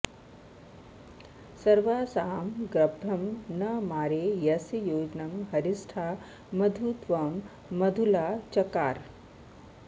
सर्वासामग्रभं नामारे अस्य योजनं हरिष्ठा मधु त्वा मधुला चकार